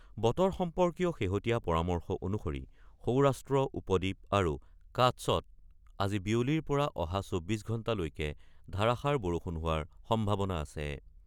বতৰ সম্পৰ্কীয় শেহতীয়া পৰামৰ্শ অনুসৰি সৌৰাষ্ট্ৰ উপদ্বীপ আৰু কাটছত আজি বিয়লিৰ পৰা অহা ২৪ ঘণ্টালৈকে ধাৰাষাৰ বৰষুণ হোৱাৰ সম্ভাৱনা আছে।